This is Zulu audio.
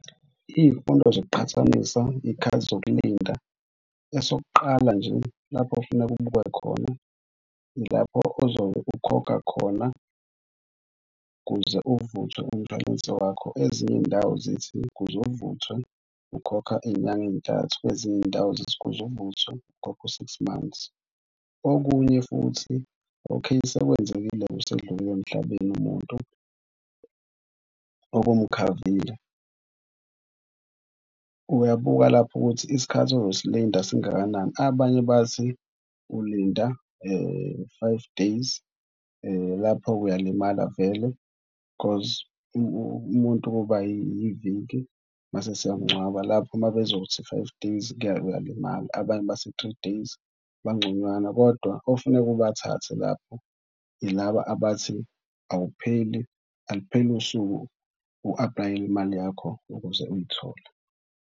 Iy'fundo zokuqhathanisa iy'khathi zokulinda. Esokuqala nje lapho ofuneka ubuke khona ilapho ozobe ukhokha khona kuze uvuthwe umshwalense wakho. Ezinye iy'ndawo zithi ukuze uvuthwe, ukhokha iy'nyanga ey'ntathu. Kwezinye iy'ndawo zithi ukuze uvuthwe ukhokha u-six months. Okunye futhi okheyi, sekwenzekile-ke usedlulile emhlabeni umuntu obumkhavile uyabuka lapho ukuthi isikhathi ozosilinda singakanani. Abanye bathi ulinda five days lapho-ke uyalimala vele because umuntu ukuba yiviki mase siyamngcwaba. Lapho uma bezothi five days uyalimala. Abanye bathi three days bangconywana kodwa ofuneka ubathathe lapho yilaba abathi awupheli alipheli usuku u-aplayele imali yakho ukuze uyithole.